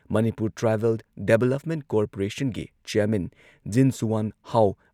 Manipur tribal development ꯀꯣꯔꯄꯣꯔꯦꯁꯟꯒꯤ chairman Jinsuanhau